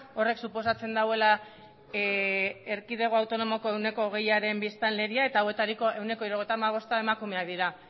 horrek suposatzen duela erkidego autonomoko ehuneko hogeiaren biztanleria eta hauetariko ehuneko hirurogeita hamabosta emakumeak